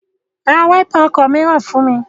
Ra wáípà ọkọ̀ mìíràn fún mi!